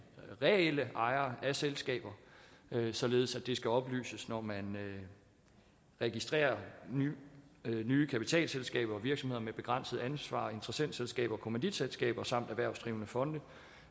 reelle ejere af selskaber således at det skal oplyses når man registrerer nye nye kapitalselskaber og virksomheder med begrænset ansvar interessentskaber kommanditselskaber samt erhvervsdrivende fonde